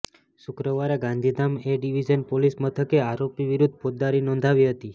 શુક્રવારે Gandhidham A division પોલીસ મથકે આરોપી વિરુદ્ધ ફોજદારી નોંધાવી હતી